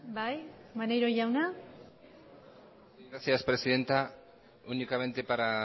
bai maneiro jauna gracias presidenta únicamente para